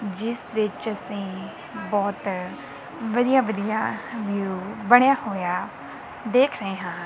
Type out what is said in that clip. ਜਿੱਸ ਵਿੱਚ ਅੱਸੀਂ ਬੋਹਤ ਵਧੀਆ ਵਧੀਆ ਵਿਊ ਬਣਿਆ ਹੋਇਆ ਦੇਖ ਰਹੇ ਹਾਂ।